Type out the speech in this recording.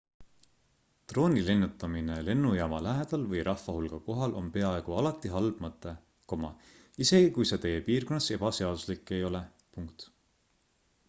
drooni lennutamine lennujaama lähedal või rahvahulga kohal on peaaegu alati halb mõte isegi kui see teie piirkonnas ebaseaduslik ei ole